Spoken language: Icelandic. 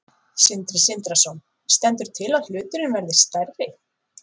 Sindri Sindrason: Stendur til að hluturinn verði stærri?